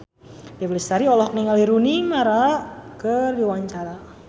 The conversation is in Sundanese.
Dewi Lestari olohok ningali Rooney Mara keur diwawancara